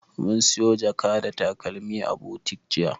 Mun siyo jaka da takalmi a butik jiya.